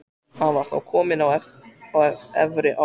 Hann var þá kominn á efri ár.